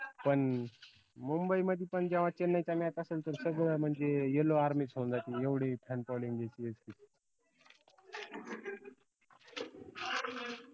पन मुंबई मधी पन जेवा चेन्नईचा match असलं त सगळं म्हनजे yellowarmy च होऊन जाती एवढी fanfollowing ए CSK ची